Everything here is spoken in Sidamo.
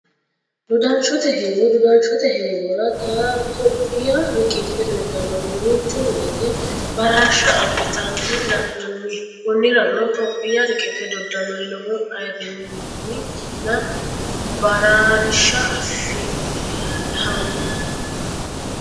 Dodanshotte heewo, doda'nshote heeworra tophiyaa riqibe dodanori duucha woyite bararsha abitanna la'nanni koniranno tophiyaa riqibe dodanori lowo ayiirinuenna baraarisha afifhano